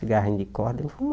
Cigarrinho de corda ele